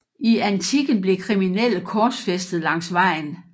I antikken blev kriminelle korsfæstet langs vejen